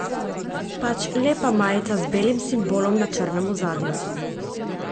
Pač lepa majica z belim simbolom na črnem ozadju.